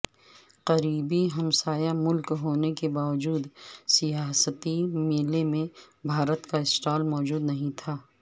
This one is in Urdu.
قریبی ہمسایہ ملک ہونے کے باوجود سیاحتی میلے میں بھارت کا سٹال موجود نہیں تھا